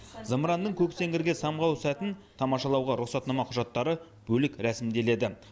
зымыранның көк сеңгірге самғау сәтін тамашалауға рұқсатнама құжаттары бөлек рәсімделеді